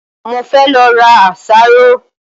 Mo fẹ́ lọ ra àsáró